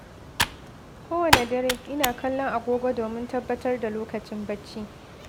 Kowane dare, ina kallon agogo domin tabbatar da lokacin bacci.